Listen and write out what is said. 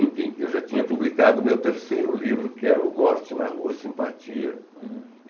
Enfim, eu já tinha publicado o meu terceiro livro, que é o Morte na Rua Simpatia. uhum